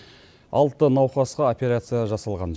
алты науқасқа операция жасалған